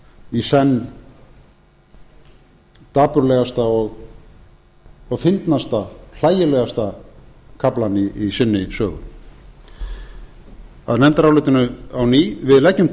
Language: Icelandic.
í senn dapurlegasta og fyndnasta hlægilegasta kaflann í sinni sögu að nefndarálitinu á ný við leggjum til